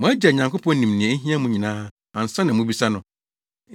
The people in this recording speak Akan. Mo Agya Nyankopɔn nim nea ehia mo nyinaa ansa na mubisa no.